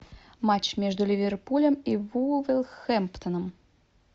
матч между ливерпулем и вулверхэмптоном